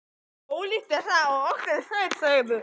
Ólíkt er það og í okkar sveit segðu.